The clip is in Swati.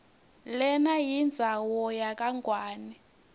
lenayindzawo yakangwane